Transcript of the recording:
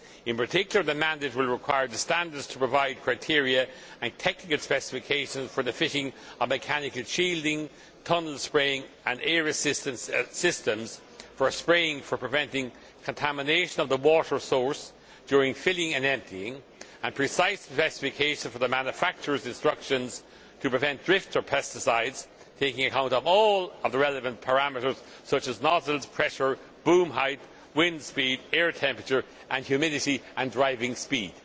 In particular the mandate will require the standards to provide criteria and technical specifications for the fitting of mechanical shielding, tunnel spraying and air assistance systems for spraying for preventing contamination of the water source during filling and emptying and precise specifications for the manufacturer's instructions to prevent drift of pesticides, taking account of all the relevant parameters, such as nozzle pressure, boom height, wind speed, air temperature and humidity, and driving speed.'